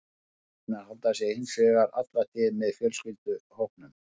Kýrnar halda sig hins vegar alla tíð með fjölskylduhópnum.